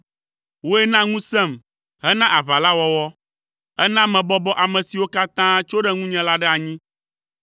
Wòe na ŋusẽm hena aʋa la wɔwɔ, Èna mebɔbɔ ame siwo katã tso ɖe ŋunye la ɖe anyi.